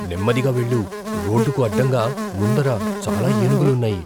నెమ్మదిగా వెళ్ళు. రోడ్డుకు అడ్డంగా ముందర చాలా ఏనుగులు ఉన్నాయి.